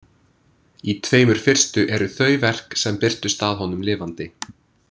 Í tveimur fyrstu eru þau verk sem birtust að honum lifandi.